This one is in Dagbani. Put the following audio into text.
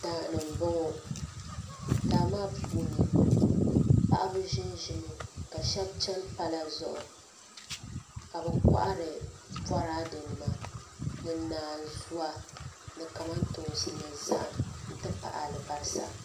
Daani mbɔŋɔ daa maa puuni paɣaba zinzimi ka shɛba chɛn pala zuɣu ka bi kɔhiri boradɛ nima ni naanzua ni kamantoonsi ni zahim nti pahi alibalisa.